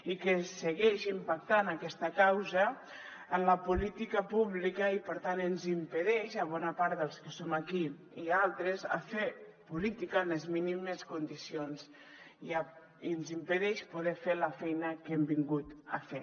i que segueix impactant aquesta causa en la política pública i per tant ens impedeix a bona part dels que som aquí i a altres fer política en les mínimes condicions i ens impedeix poder fer la feina que hem vingut a fer